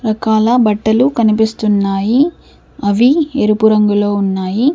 రకాల బట్టలు కనిపిస్తున్నాయిఅవి ఎరుపు రంగులో ఉన్నాయి.